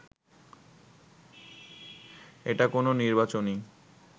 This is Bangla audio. এটা কোনো নির্বাচনী